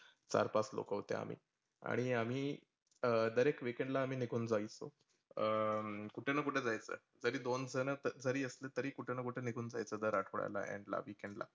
चार पाच लोक होते आम्ही. आणि आम्ही दर एक weekend ला आम्ही निघुन जायचो. अं कुठेना कुठे जायचो. जरी दोन जन असलो तरी किठेना कुठे जायचो दर अठवड्याला, end ला weekend ला.